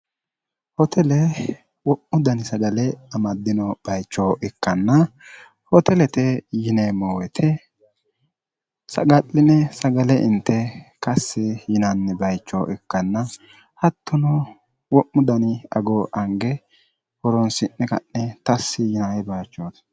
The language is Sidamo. hootele wo'mu dani sagale amaddino bayicho ikkanna hootelete yineemmo woyite saga'line sagale inte kassi yinanni bayicho ikkanna hattuno wo'mu dani agoo ange horoonsi'ne ka'ne tassi yinae bayichooti